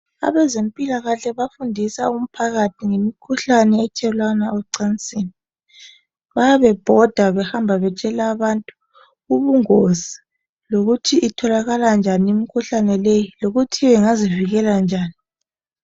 Abezempilakahle bafundisa umphakathi ngemikhuhlane ethelelwana ecansini bayabe bebhoda behamba betshela abantu ubungozi lokuthi itholakala njani imikhuhlane leyi lokuthi bengazivikela njani.